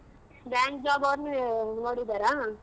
Bank job ಅವ್ರ್ನ್ ನೋಡಿದಾರ?